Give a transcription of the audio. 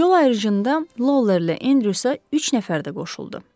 Yol ayırıcında Lawlerlə Andrewsə üç nəfər də qoşuldu.